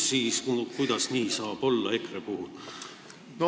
No kuidas nii saab olla EKRE puhul?